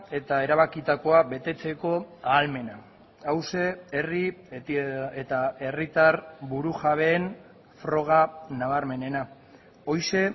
eta erabakitakoa betetzeko ahalmena hauxe herri eta herritar burujabeen froga nabarmenena horixe